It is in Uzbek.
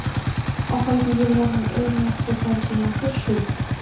Oxirgi yillarning eng yaxshi tarjimasi shu.